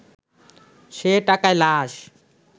সে টাকায় লাশ